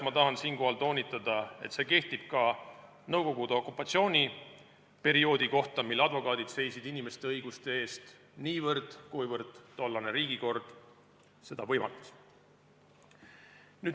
Ma tahan siinkohal toonitada, et see kehtib ka Nõukogude okupatsiooni kohta, kui advokaadid seisid inimeste õiguste eest niivõrd, kuivõrd tollane riigikord seda võimaldas.